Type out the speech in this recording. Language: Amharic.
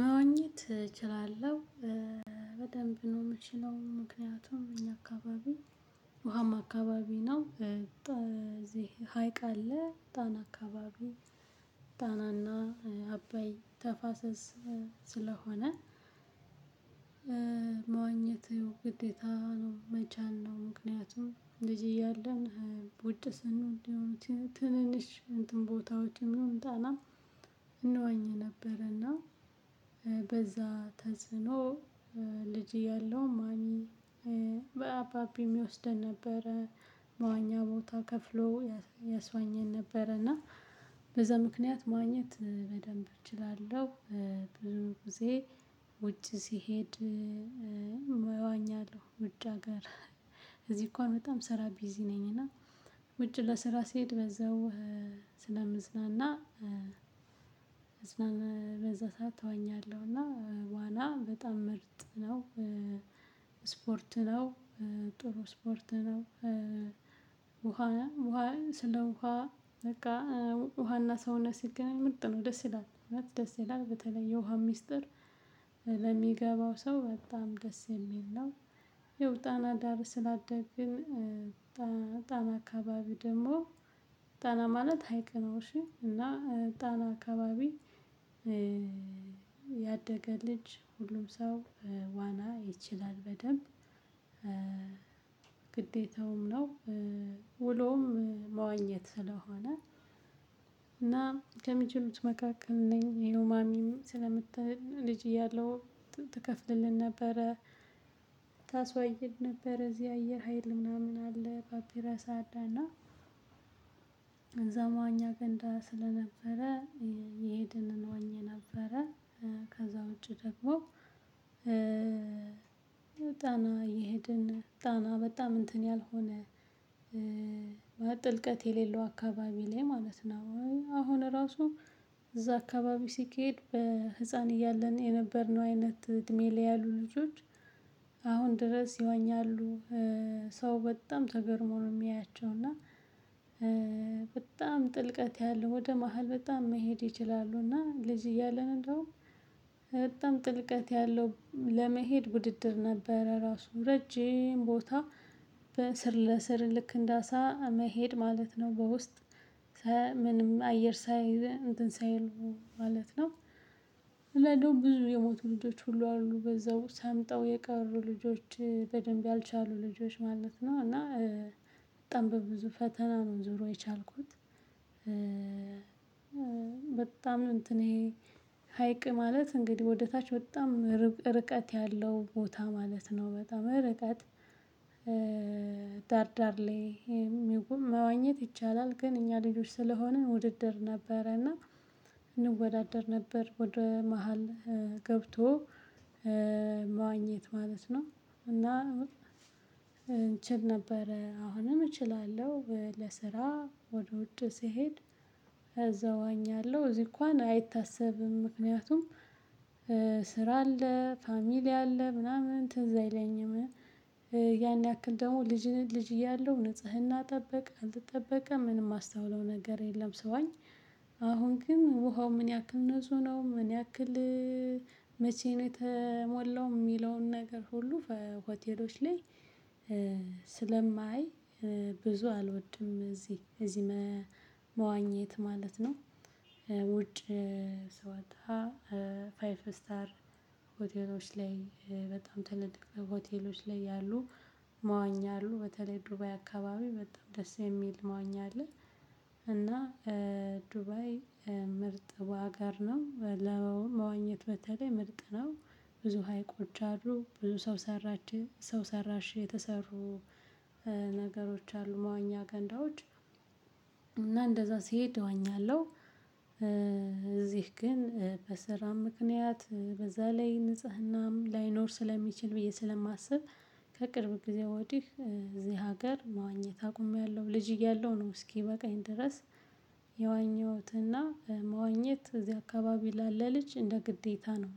መዋኘት እችላለሁ በደንብ ነው የምችለው። ምክንያቱም እኛ አካባቢ ውሀማ አካባቢ ነው እዚህ ሀይቅ አለ ጣና አካባቢ ጣናና አበይ ተፋሰስ ስለሆነ። መዋኘት ግዴታ ነው መቻል ነው። ምክንያቱም ልጅ እያለን ውጭ ስንሆን እንደው ትንንሽ እንትን ቦታዎችን ይሁን ጣና እንወኝ ነበርና በዛ ተጽዕኖ ልጅ እያለው ማሚ በአባቢ ይወስደን ነበረ። መዋኛ ቦታ ከፍሎ ያስዋኘን ነበረ እና በዛ ምክንያት መዋኘት በደንብ እችላለሁ። ብዙ ጊዜ ውጭ ሲሄድ እዋኛለሁ። ውጭ አገር እዚህ እንኳን በጣም ስራ ቢዚ ነኝ እና ውጭ ለስራ ስሄድ በዛው ስለምዝናና። መዝናና በዛ ሰዓት እዋኛለሁ እና ዋና በጣም ምርጥ ነው። ስፖርት ነው ጥሩ ስፖርት ነው። ውሃ ስለ ውሃ በቃ ውሃና ሰውነት ሲገናኝ ምርጥ ነው ደስ ይላል። ደስ ይላል በተለይ የውሃ ሚስጥር ለሚገባው ሰው በጣም ደስ የሚል ነው። ያው ጣና ጋር ስላደግን። ጣና አካባቢ ደግሞ ጣና ማለት ሀይቅ ነው። እሺ እና ጣና አካባቢ ያደገ ልጅ ሁሉም ሰው ዋና ይችላል በደንብ። ግዴታው ነው ውሎውም መዋኘት ስለሆነ እና ከሚችሉት መካከል ነኝ ይሄው ማሚም ስለምትል ልጅ እያለሁ ትከፍልልን ነበረ። ታስዋኘን ነበር እዚህ አየር ሀይል ምናምን አለ ፓፒራሳ እና እዛ መዋኛ ገንዳ ስለነበረ። እየሄድን እንዋኝ ነበረ ውጪ ደግሞ ያው። ጣና እየሄድን ጣና በጣም እንትን ያልሆነ ጥልቀት የሌለው አካባቢ ላይ ማለት ነው። አሁን ራሱ እዛ አካባቢ ሲኬድ በህፃን እያለን የነበርነው አይነት እድሜ ላይ ያሉ ልጆች አሁን ድረስ ይዋኛሉ። ሰው በጣም ተገርሞ ነው የሚያያቸው እና። በጣም ጥልቀት ያለው ወደ መሃል በጣም መሄድ ይችላሉ። እና ልጅ እያለን እንደውም በጣም ጥልቀት ያለው ለመሄድ ውድድር ነበረ። ራሱ ረጅም ቦታ ስር ለስር ልክ እንደ አሳ መሄድ ማለት ነው። በውስጥ ምንም አየር ሳይ እንትን ሳይሉ ማለት ነው። ለደ ብዙ የሞቱ ልጆች ሁሉ አሉ በዛው ሰምጠው የቀሩ ልጆች በደንብ ያልቻሉ ልጆች ማለት ነው። እና በጣም በብዙ ፈተና ነው ዞሮ የቻልኩት። በጣም ነው እንትን ይሄ ሀይቅ ማለት እንግዲህ ወደታች በጣም ርቀት ያለው ቦታ ማለት ነው። በጣም ርቀት ዳር ዳር ላይ ይሁን መዋኘት ይቻላል። ግን እኛ ልጆች ስለሆንን ውድድር ነበረና። እና እንወዳደር ነበር ወደ መሃል ገብቶ መዋኘት ማለት ነው። እና እንችል ነበር አሁንም እችላለሁ ለስራ ወደ ውጭ ስሄድ። እዛ እዋኛለሁ እዚህ እንኳን አይታሰብም። ምክንያቱም ስራ አለ ፋሚሊ አለ ምናምን ትዝ አይለኝም። ያን ያክል ደግሞ ልጅን ልጅ እያለሁ ንጽህና ጠበቅ አልትጠበቀም ምንም የማስታውለው ነገር የለም። ሰዋኝ አሁን ግን ውሃው ምን ያክል ነው ምን ያክል? መቼ ነው የተሞላው የሚለውን ነገር ሁሉ ሆቴሎች ላይ? ስለማይ ብዙ አልወድም። እዚህ እዚህ መዋኘት ማለት ነው። ውጭ ስወጣ ፋይቭ ስታር ሆቴሎች ላይ በጣም ተልልቅ ሆቴሎች ላይ ያሉ መዋኛ አሉ። በተለይ ዱባይ አካባቢ በጣም ደስ የሚል መዋኛ አለ። እና ዱባይ ምርጥ አገር ነው ለመዋኘት በተለይ ምርጥ ነው። ብዙ ሀይቆች አሉ ብዙ ሰው ሰራሽ ሰው ሰራሽ የተሰሩ ነገሮች አሉ መዋኛ ገንዳዎች። እንደዛ ሲሄድ እወኛለሁ። እዚህ ግን በስራም ምክንያት በዛ ላይ ንጽህናም ላይኖር ስለሚችል ብዬ ስለማስብ። ከቅርብ ጊዜ ወዲህ እዚህ ሀገር መዋኘት አቁሜያለሁ ልጅ እያለሁ ነው። እስኪ በቃኝ ድረስ የዋኘሁትና መዋኘት እዚህ አካባቢ ላለ ልጅ እንደ ግዴታ ነው።